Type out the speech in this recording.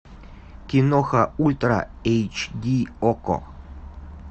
киноха ультра эйч ди окко